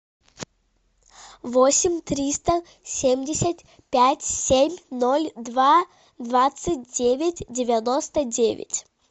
восемь триста семьдесят пять семь ноль два двадцать девять девяносто девять